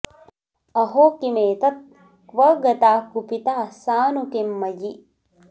अहो किमेतत् क्व गता कुपिता सा नु किं मयि